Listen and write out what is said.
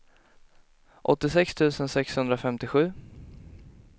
åttiosex tusen sexhundrafemtiosju